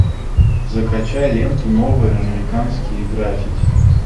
закачай ленту новые американские граффити